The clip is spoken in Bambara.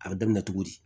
A bɛ daminɛ cogo di